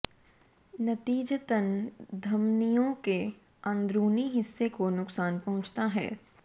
नतीजतन धमनियों के अंदरूनी हिस्से को नुकसान पहुंचता है